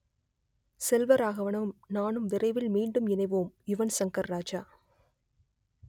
செல்வராகவனும் நானும் விரைவில் மீண்டும் இணைவோம் யுவன் சங்கர் ராஜா